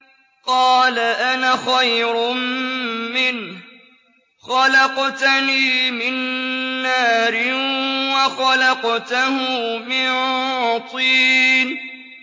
قَالَ أَنَا خَيْرٌ مِّنْهُ ۖ خَلَقْتَنِي مِن نَّارٍ وَخَلَقْتَهُ مِن طِينٍ